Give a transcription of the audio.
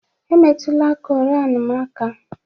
Emetụla Koran m aka!